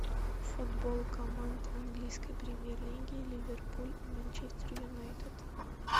футбол команд английской премьер лиги ливерпуль и манчестер юнайтед